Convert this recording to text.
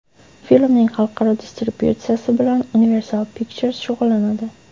Filmning xalqaro distributsiyasi bilan Universal Pictures shug‘ullanadi.